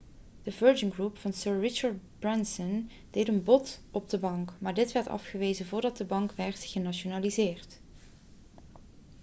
de virgin group van sir richard branson deed een bod op de bank maar dit werd afgewezen voordat de bank werd genationaliseerd